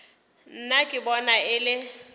nna ke bona e le